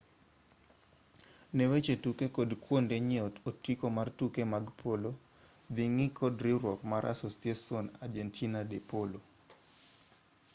ne weche tuke kod kuonde nyiewo otiko mar tuke mag polo dhi ng'i kod riwruok mar asociacion argentina de polo